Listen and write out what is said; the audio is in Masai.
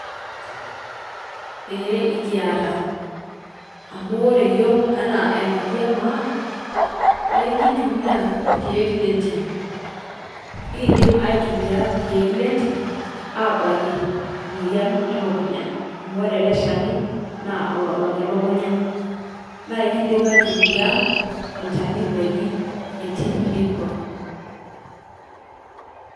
Ee ekieta amu ore yook ena enkaaji e maa naa nkitumia lkiek le ntiim. Niikidiim aitumia lkiek le ntiim abaaki moyian e luukunyaa, amu ore olee lshaani naa loobaaki luukunyaa . Naa kiidiim aitumia olchaani lojii entipiilikwa.